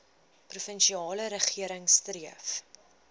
provinsiale regering streef